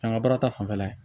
An ka baara ta fanfɛla